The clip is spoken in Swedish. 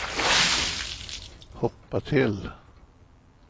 hoppa till